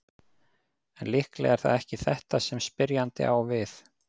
En líklega er það ekki þetta sem spyrjandi á við.